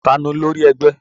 Ta ni olórí ẹgbẹ́?